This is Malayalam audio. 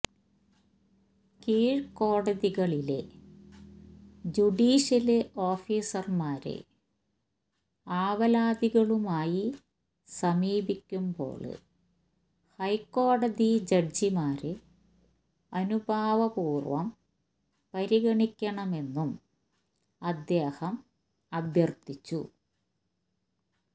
കീഴ്ക്കോടതികളിലെ ജുഡിഷ്യല് ഓഫീസര്മാര് ആവലാതികളുമായി സമീപിക്കുമ്പോള് ഹൈക്കോടതി ജഡ്ജിമാര് അനുഭാവപൂര്വം പരിഗണിക്കണമെന്നും അദ്ദേഹം അഭ്യര്ത്ഥിച്ചു